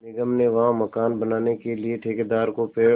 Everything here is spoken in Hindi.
निगम ने वहाँ मकान बनाने के लिए ठेकेदार को पेड़